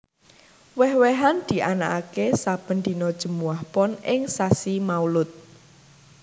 Wéh wéhan dianakaké sabèn dina Jèmuwah Pon ing sasi Maulud